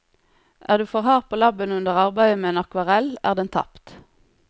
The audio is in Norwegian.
Er du for hard på labben under arbeidet med en akvarell er den tapt.